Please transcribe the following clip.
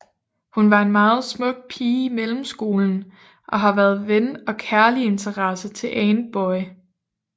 Hun var en meget smuk pige i mellemskolen og har været ven og kærliginteresse til Antboy